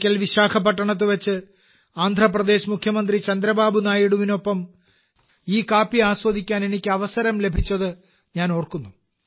ഒരിക്കൽ വിശാഖപട്ടണത്ത് വെച്ച് ആന്ധ്രാപ്രദേശ് മുഖ്യമന്ത്രി ചന്ദ്രബാബു നായിഡു ഗാരുവിനോടൊപ്പം ഈ കാപ്പി ആസ്വദിക്കാൻ എനിക്ക് അവസരം ലഭിച്ചത് ഞാൻ ഓർക്കുന്നു